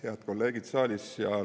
Head kolleegid saalis!